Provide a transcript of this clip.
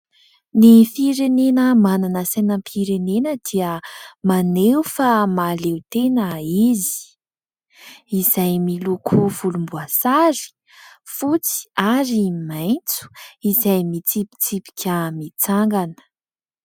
Ny firenena manana sainam-pirenena dia maneho fa mahaleo tena izy. Izay miloko volomboasary, fotsy ary maitso ; izay mitsipitsipika mitsangana.